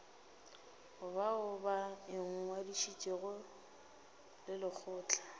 bao ba ingwadišitšego le lekgotla